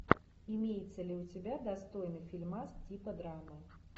имеется ли у тебя достойный фильмас типа драмы